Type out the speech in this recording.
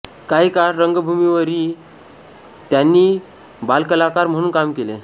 काही काळ रंगभूमीवरही त्यांनी बालकलाकार म्हणून काम केले